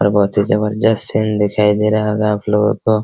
और बहुत ही जबरजस्त सीन दिखाई दे रहा होगा आपलोगो को।